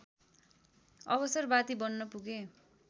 अवसरवादी बन्न पुगे